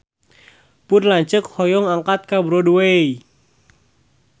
Pun lanceuk hoyong angkat ka Broadway